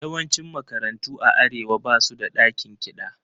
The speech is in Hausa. Yawancin makarantu a Arewa ba su da ɗakin kiɗa.